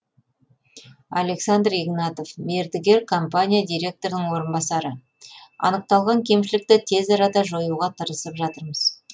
александр игнатов мердігер компания директорының орынбасары анықталған кемшілікті тез арада жоюға тырысып жатырмыз